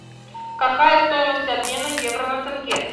какая стоимость обмена евро на тенге